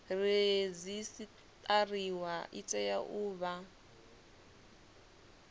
redzisiṱariwa i tea u vha